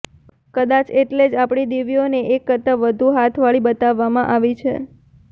કદાચ એટલે જ આપણી દેવીઓને એક કરતાં વધુ હાથવાળી બતાવવામાં આવી છે